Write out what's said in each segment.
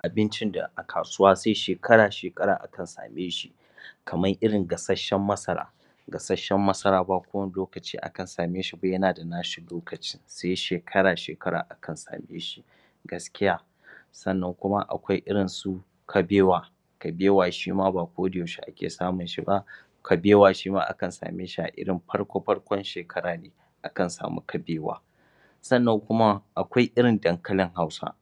Abincin da a kasuwa sai shekara-shekara akan same shi kamar irin gasasshen masaragasas gasasshen masara ba kowane lokaci akan same shi ba yana da nashi lokaci sai shekara-shekara akan same shi gaskiya sannan kuma akwai irinsu kabewa kabewa shi ma ba kodayaushe ake samun shi ba kabewa shi ma akan same shi a irin farko-farkon shekara ne. akan samu kabewa sannan kuma akwai irin dankalin Hausa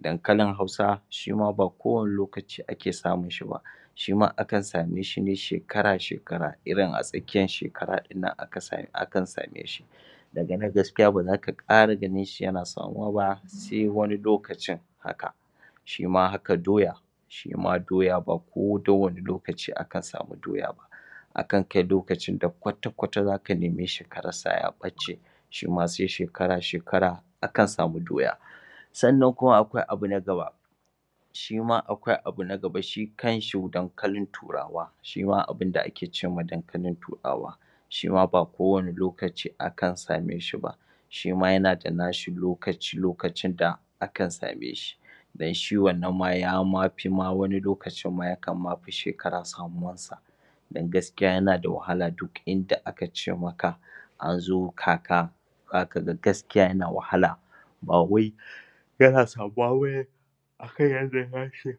Dankalin Hausa shi ma ba kowane lokaci ake samun shi ba shi ma akan same shi ne shekara-shekara irin a tsakiyar shekara ɗin nan akan same shi daga nan gaskiya ba za ka ƙara ganin shi yana samuwa ba. sai wani lokacin haka shi ma haka doya shi ma doya ba kowane lokaci akan samu doya ba Akan kai lokacin da kwata-kwata za ka nemi ka rasa ya ɓace. shi ma sai shekara-shekara akan samu doya. sannan kuma akwai abu nagaba shi ma akwai abu na gaba shi kanshi dankalin turawa shi ma abinda ake ce ma dankalin turawa shi ma ba kowane lokaci akan same shi ba shi ma yana da nashi lokaci-lokacin da akan same shi. don shi wannan ma yama fi ma wani lokaci ma yakan ma fi shekara samuwar sa don gaskiya yana da wahala duk in da aka ce maka an zo kaka za ka ga gaskiya yana wahala ba wai yana samuwa ba ne a kan yadda ya san shi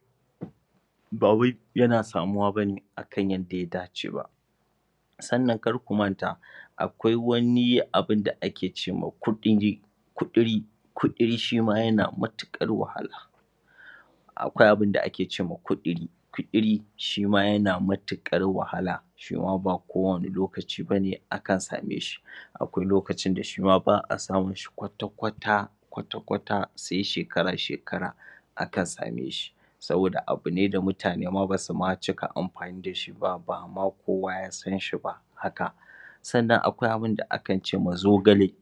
ba wai yana samuwa ba ne a kan yadda ya dace ba sannan kar ku manta akwai wani abun da ake ma kuɗili Kuɗili shi ma yana matuƙar wahala akwai abin da ake ce ma kuɗili shi ma yana matuƙar wahala shi ma ba kowane lokaci ba ne akan same shi. akwai lokacin da shi ma ba a samun shi kwata-kwata kwata-kwata sai shekara-shekara akan same shi saboda abu ne da mutane ba ma su cikia amfani da ba ba ma kowa ya san shi ba haka. Sannan akwai abin da akan ce ma zogale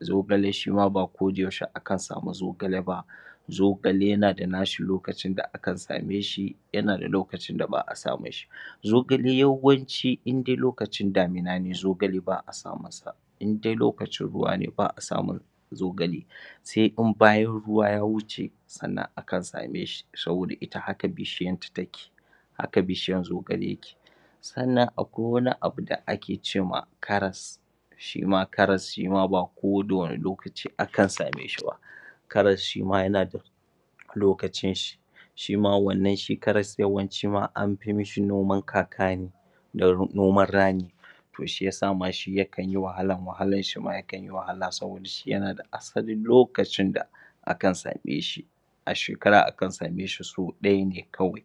zaogale shi ma ba ko da yaushe akan samu zogale ba Zogale yana da nashi lokacin da akan same shi. yana da lokacin da ba a samun shi zogale yawanci in dai lokacin damina ne ba a samun sa in dai lokacin ruwa ne ba a samun zogale sai in bayan ruwa ya wuce sannan akan same shi saboda ita hakan bishiyanta take Haka bishiysn zogale yake. sannan akwai wani abu da ake ce ma karas shi ma karas shi ma ba ko da wane lokaci akan same shi ba. karas shi ma ya na da lokacin shi shi ma wannan shi karas yawan ci ma am fi mashi noman kaka ne na noman rani to shi yasa ma shi yakan yi wahala wahalan shi ma yakan yi wahala saboda shi yana da asalin lokacin da akan same shi a shekara akan same shi sau ɗaya ne kawai.